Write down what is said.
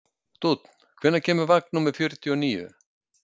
Dúnn, hvenær kemur vagn númer fjörutíu og níu?